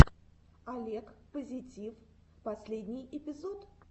олег позитив последний эпизод